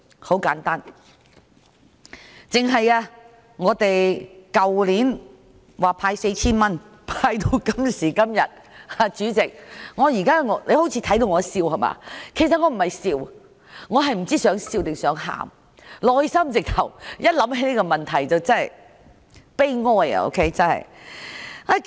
很簡單，單是去年派發 4,000 元，到今時今日——主席，你看到我好像在笑，其實我不是在笑，只是哭笑不得——一想起這個問題，內心真的悲哀。